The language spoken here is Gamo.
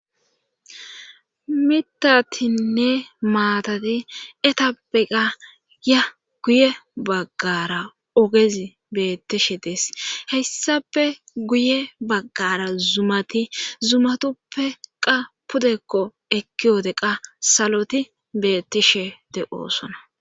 Mitatinne maatati etappeqa ya guye baggara ogezi beettishe dees hessafe guye baggara zumati zumatuppe qa pudekko ekki wode qa saloti bettishe de'oosona.